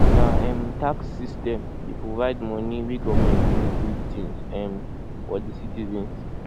na um tax system dey provide moni wey government dey use build tins um for di citizens